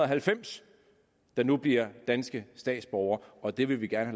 halvfems der nu bliver danske statsborgere og det vil vi gerne